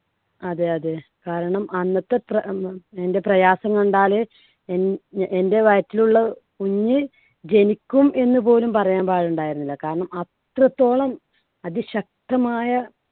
അതെ അതെ കാരണം അന്നത്തെ പ്ര~ എൻറെ പ്രയാസം കണ്ടാല് എ~ എൻടെ വയറ്റിലുള്ള കുഞ്ഞ് ജനിക്കും എന്ന് പോലും പറയാൻ പാടുണ്ടായിരുന്നില്ല. കാരണം അത്രത്തോളം അതിശക്തമായ